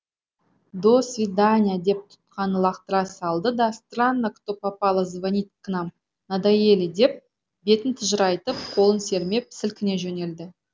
до свидания деп тұтқаны лақтыра салды да странно кто попало звонит к нам надоели деп бетін тыжырайтып қолын сермеп сілкіне жөнелді